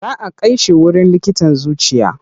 Za a kai shi wurin likitan zuciya.